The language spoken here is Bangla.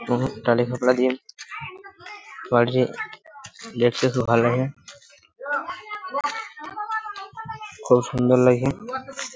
উহ টালি খাপরা দিয়ে বাড়িটি দেখতে খুব ভালো খুব সুন্দর লাগছে।